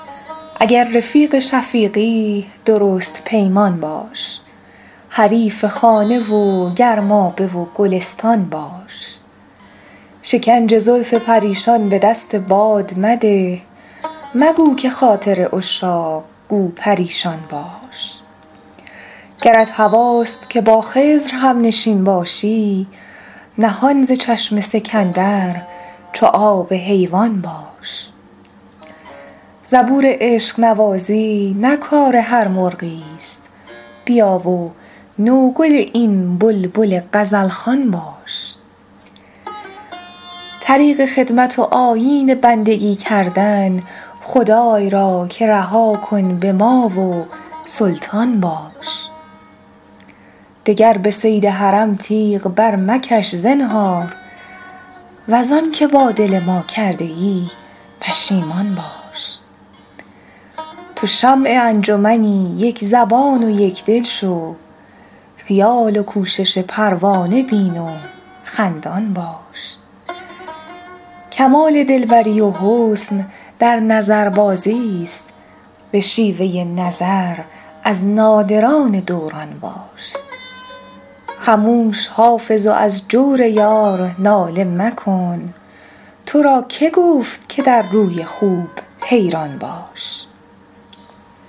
اگر رفیق شفیقی درست پیمان باش حریف خانه و گرمابه و گلستان باش شکنج زلف پریشان به دست باد مده مگو که خاطر عشاق گو پریشان باش گرت هواست که با خضر هم نشین باشی نهان ز چشم سکندر چو آب حیوان باش زبور عشق نوازی نه کار هر مرغی است بیا و نوگل این بلبل غزل خوان باش طریق خدمت و آیین بندگی کردن خدای را که رها کن به ما و سلطان باش دگر به صید حرم تیغ برمکش زنهار وز آن که با دل ما کرده ای پشیمان باش تو شمع انجمنی یک زبان و یک دل شو خیال و کوشش پروانه بین و خندان باش کمال دل بری و حسن در نظربازی است به شیوه نظر از نادران دوران باش خموش حافظ و از جور یار ناله مکن تو را که گفت که در روی خوب حیران باش